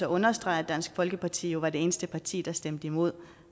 understrege at dansk folkeparti jo var det eneste parti der stemte imod